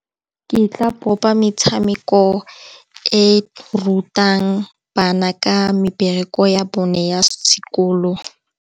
Ke tla bopa metshameko e rutang bana ka mebereko ya bone ya sekolo.